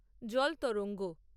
জল তরঙ্গ